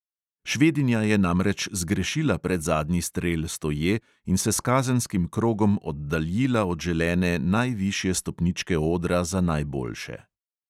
Švedinja je namreč zgrešila predzadnji strel stoje in se s kazenskim krogom oddaljila od želene najvišje stopničke odra za najboljše.